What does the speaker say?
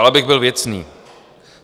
Ale abych byl věcný.